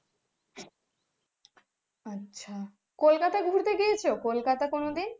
আচ্ছা কলকাতা ঘুরতে গিয়েছে, কলকাতা কোনোদিন।